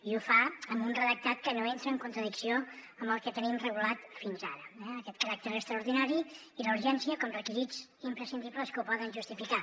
i ho fa amb un redactat que no entra en contradicció amb el que tenim regulat fins ara aquest caràcter extraordinari i la urgència com a requisits imprescindibles que ho poden justificar